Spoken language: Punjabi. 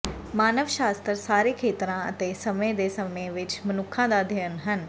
ਮਾਨਵ ਸ਼ਾਸਤਰ ਸਾਰੇ ਖੇਤਰਾਂ ਅਤੇ ਸਮੇਂ ਦੇ ਸਮੇਂ ਵਿੱਚ ਮਨੁੱਖਾਂ ਦਾ ਅਧਿਅਨ ਹੈ